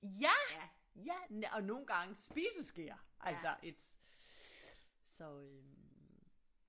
Ja ja og nogle gange spiseskeer altså it's så øh